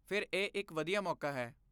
ਫਿਰ ਇਹ ਇੱਕ ਵਧੀਆ ਮੌਕਾ ਹੈ।